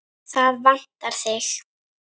Það vantar þig.